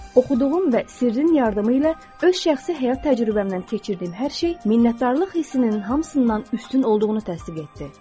Oxuduğum və Sirrin yardımı ilə öz şəxsi həyat təcrübəmdən keçirdiyim hər şey minnətdarlıq hissinin hamısından üstün olduğunu təsdiq etdi.